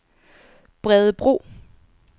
Bredebro